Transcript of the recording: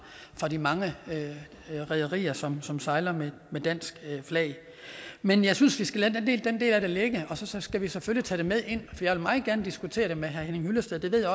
de mange rederier som som sejler med dansk flag men jeg synes vi skal lade den del af det ligge og så skal vi selvfølgelig tage det med ind jeg vil meget gerne diskutere det med herre henning hyllested det ved